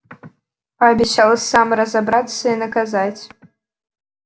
пообещал сам разобраться и наказать